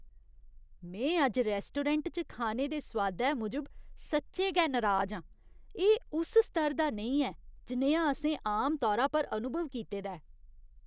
में अज्ज रैस्टोरैंट च खाने दे सोआदै मूजब सच्चें गै नराज हा। एह् उस स्तर दा नेईं ऐ जनेहा असें आमतौरा पर अनुभव कीते दा ऐ।